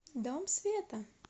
дом света